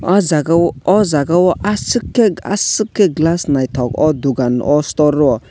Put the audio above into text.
aw jaaga o aww jaaga o asuk ke asuk ke glass nythok aw dugan aw store o.